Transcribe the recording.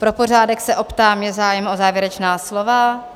Pro pořádek se optám, je zájem o závěrečná slova?